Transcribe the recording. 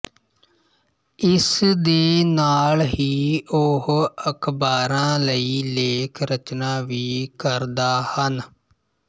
ਇਸ ਦੇ ਨਾਲ ਹੀ ਉਹ ਅਖਬਾਰਾਂ ਲਈ ਲੇਖ ਰਚਨਾ ਵੀ ਕਰਦਾ ਹਨ